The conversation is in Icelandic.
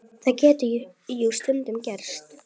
Það gat jú stundum gerst!